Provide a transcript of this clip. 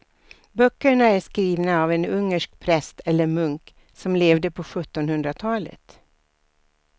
Böckerna är skrivna av en ungersk präst eller munk som levde på sjuttonhundratalet.